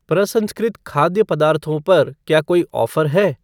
प्रसंस्कृत खाद्य पदार्थों पर क्या कोई ऑफ़र है?